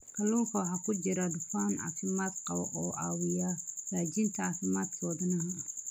Kalluunka waxaa ku jira dufan caafimaad qaba oo caawiya hagaajinta caafimaadka wadnaha.